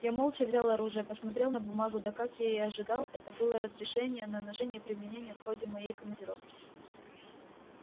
я молча взял оружие посмотрел на бумагу да как я и ожидал это было разрешение на ношение и применение в ходе моей командировки